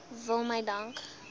wil my dank